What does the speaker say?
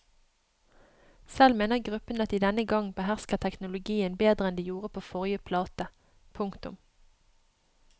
Selv mener gruppen at de denne gang behersker teknologien bedre enn de gjorde på forrige plate. punktum